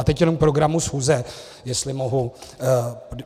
A teď jenom k programu schůze, jestli mohu.